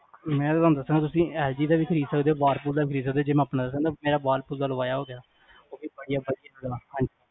ਮੈ ਤੁਹਾਨੂ ਦਸਾਂ, ਤੁਸੀਂ ਇਹ ਐਲ ਜੀ ਦਾ ਵੀ ਖਰੀਦ ਵਹਿਰਲਪੂਲ ਦਾ ਵੀ ਖਰੀਦ ਸਕਦੇ ਹੋ, ਮੈ ਵਹਿਰਲਪੂਲ ਦਾ ਲਵਾਇਆ ਹੋ ਗਿਆ